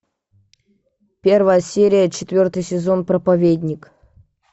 первая серия четвертый сезон проповедник